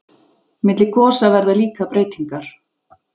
milli gosa verða líka breytingar